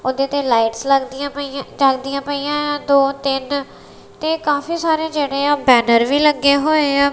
ਉਹਦੇ ਤੇ ਲਾਈਟਸ ਲੱਗਦੀਆਂ ਜਲਦੀਆਂ ਪਈਆਂ ਦੋ ਤਿੰਨ ਤੇ ਕਾਫੀ ਸਾਰੇ ਜਿਹੜੇ ਆ ਬੈਨਰ ਵੀ ਲੱਗੇ ਹੋਏ ਆ।